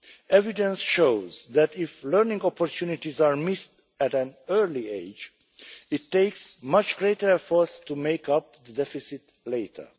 Evidence shows that if learning opportunities are missed at an early age, it takes much greater efforts to make up the deficit later.